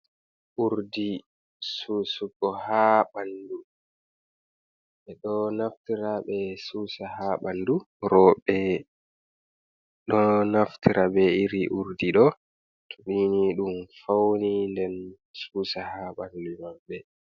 Urdi susugo ha ɓandu, ɓeɗo naftira ɓe susa ha ɓandu, roɓe ɗo naftira be iri urdi ɗo nini ɗum fauni nden susa ha ɓalli maɓe.